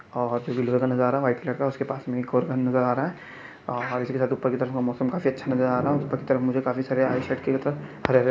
और का नजारा व्हाइट कलर का उसके पास नील कार्बन नजर अा रहा हैं और उपर की तरफ मौसम काफी अच्छा नजर आ रहा हैं उपर की तरफ काफी मुझे --